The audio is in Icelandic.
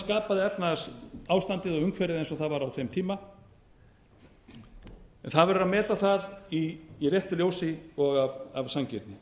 skapaði efnahagsástandið og umhverfið eins og það var á þeim tíma en það verður að meta það í réttu ljósi og af sanngirni